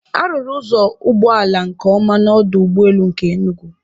A rụrụ ụzọ ụgbọala nke ọma n'ọdụ ụgbọelu nke Enugu